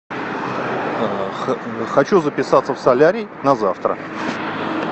хочу записаться в солярий на завтра